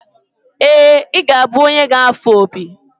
ee, ị ga-abụ onye ga-afụ opi